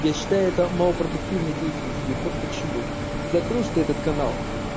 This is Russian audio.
я считаю это малопродуктивной деятельностью вот почему закроешь ты этот канал